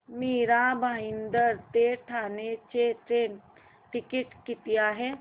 मीरा भाईंदर ते ठाणे चे train ticket किती आहे